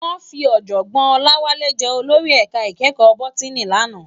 Wòn fi òjògbòn Olawale jè ólórí èká ikèékò bótìní làná